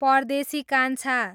परदेशी कान्छा